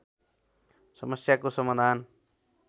समस्याको समाधान